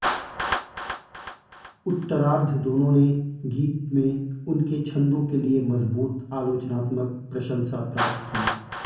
उत्तरार्द्ध दोनों ने गीत में उनके छंदों के लिए मजबूत आलोचनात्मक प्रशंसा प्राप्त की